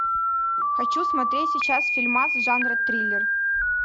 хочу смотреть сейчас фильмас жанра триллер